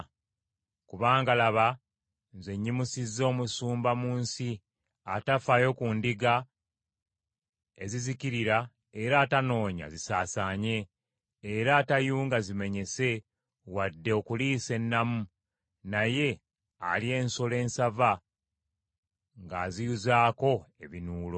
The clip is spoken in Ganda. Kubanga laba, nze nyimusizza omusumba mu nsi atafaayo ku ndiga ezizikirira era atanoonya zisaasaanye, era atayunga zimenyese wadde okuliisa ennamu, naye alya ensolo ensava ng’aziyuzaako ebinuulo.